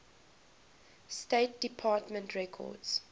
state department records